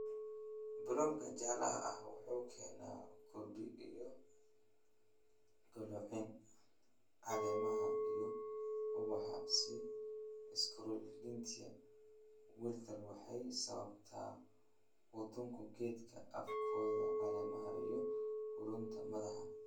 "Bloonka jaalaha ah wuxuu keenaa hurdi iyo qalloocin caleemaha iyo ubaxa iyo Sclerotinia Wilt waxay sababtaa qudhunka geedka afkoda, caleemaha iyo qudhunka madaxa."